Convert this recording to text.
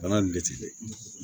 Bana nin de ti bɛn